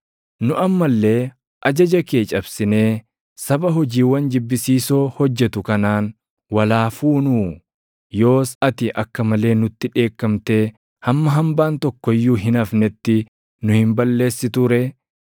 Nu amma illee ajaja kee cabsinee saba hojiiwwan jibbisiisoo hojjetu kanaan wal haa fuunuu? Yoos ati akka malee nutti dheekkamtee hamma hambaan tokko iyyuu hin hafnetti nu hin balleessituu ree?